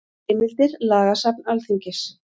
Heimildir Lagasafn Alþingis.